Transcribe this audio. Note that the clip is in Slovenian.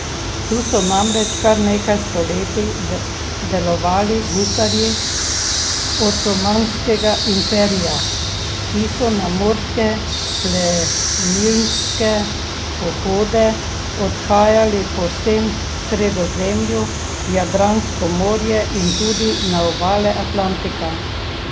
Tu so namreč kar nekaj stoletij delovali gusarji otomanskega imperija, ki so na morske plenilske pohode odhajali po vsem Sredozemlju, v Jadransko morje in tudi na obale Atlantika.